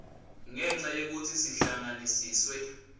ngenca yekutsi sihlanganiswe